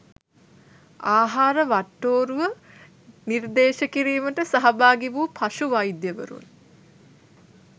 ආහාර වට්ටෝරුව නිර්දේශ කිරීමට සහභාගි වූ පශු වෛද්‍යවරුන්